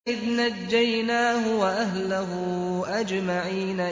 إِذْ نَجَّيْنَاهُ وَأَهْلَهُ أَجْمَعِينَ